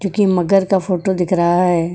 क्योंकि मगर का फोटो दिख रहा है।